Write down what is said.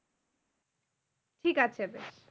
ঠিকআছে।